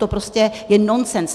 To prostě je nonsens.